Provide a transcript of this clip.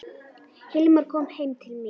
Hilmar kom heim til mín.